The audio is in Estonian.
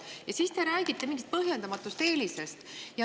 Ja siis te räägite põhjendamatust eelisest.